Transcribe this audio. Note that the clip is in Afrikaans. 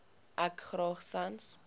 ek graag sans